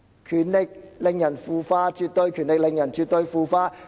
權力令人腐化，絕對權力令人絕對腐化。